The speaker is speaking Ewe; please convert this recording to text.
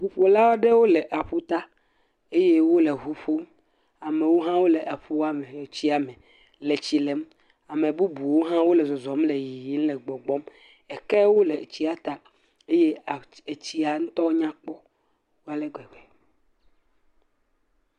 ʋuƒola aɖewo le aƒuta eye wole ʋuƒom amewo le tsia me le tsi lem ame bubuwo ha wole zɔzɔm le yiyim le gbɔgbɔm kewo le tsia ta eye tsia ŋtɔ nyakpɔ alegbegbe